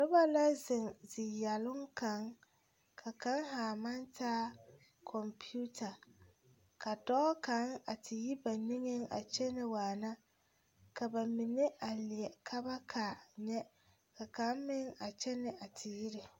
Noba la zeŋ ziyɛloŋ kaŋ ka kaŋ haa maŋ taa kɔmpeta ka dɔɔ kaŋ a te yi ba niŋeŋ a kyɛnɛ waana ka ba mine a leɛ ka ba kaa nyɛ ka kaŋ meŋ a kyɛnɛ a te yire.